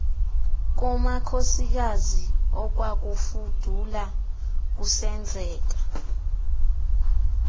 kumakhosikazi okwakufudula kusenzeka